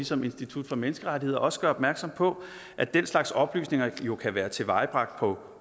som institut for menneskerettigheder også gør opmærksom på at den slags oplysninger jo kan være tilvejebragt på